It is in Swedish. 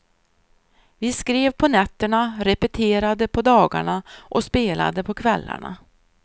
Vi skrev på nätterna, repeterade på dagarna och spelade på kvällarna.